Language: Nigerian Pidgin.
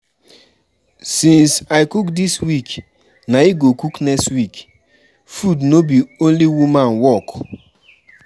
Since I cook dis week na you go cook next week, food no be only woman work.